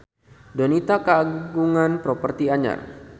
Donita kagungan properti anyar